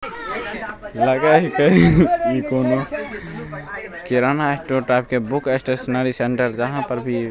लगये हीके कोनो किराना स्टोर टाइप के बुक स्टेश्नरी सेण्टर जहां पर भी --